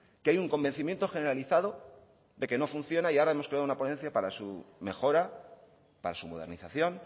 que hay un convencimiento generalizado de que no funciona y ahora hemos creado una ponencia para su mejora para su modernización